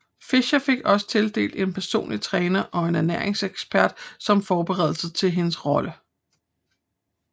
Fisher fik også tildelt en personlig træner og en ernæringsekspert som forberedelse til hendes rolle